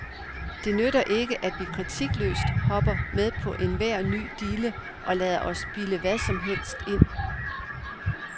Det nytter ikke, vi kritikløst hopper med på enhver ny dille og lader os bilde hvad som helst ind.